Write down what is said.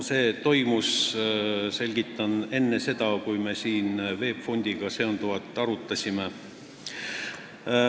Selgitan, et seda küsiti enne, kui me siin VEB Fondiga seonduvat arutasime.